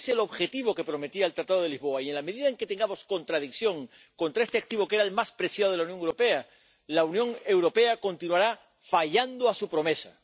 Ese es el objetivo que prometía el Tratado de Lisboa y, en la medida en que tengamos contradicción contra este activo, que era el más preciado de la Unión Europea, la Unión Europea continuará fallando a su promesa.